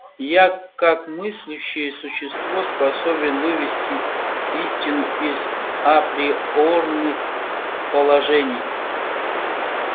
я как мыслящее существо способен вывести истину из априорных положений